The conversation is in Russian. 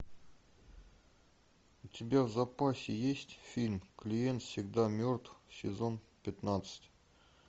у тебя в запасе есть фильм клиент всегда мертв сезон пятнадцать